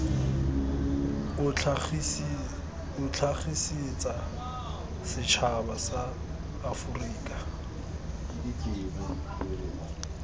o tlhagisetsa setšhaba sa aforika